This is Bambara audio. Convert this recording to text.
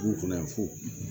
Du kɔnɔ yan fo